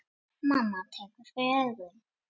Mamma tekur fyrir augun.